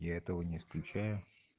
я этого не исключаю